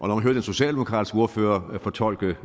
man høre den socialdemokratiske ordfører fortolke